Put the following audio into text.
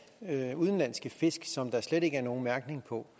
af udenlandske fisk som der slet ikke er nogen mærkning på